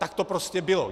Tak to prostě bylo.